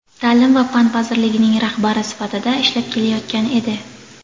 ta’lim va fan vazirligining rahbari sifatida ishlab kelayotgan edi.